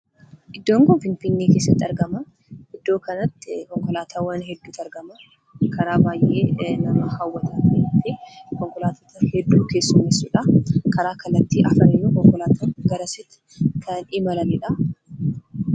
Iddoon kun Finfinnee keessatti argama. Iddoo kanatti konkolaataawwan hedduutu argama. karaa baay'ee nama hawwata. Konkolaattota hedduu kan keessummeesudha. Karaa kallattii arfaniinuu konkolaattonni kan garasitti imalanidha.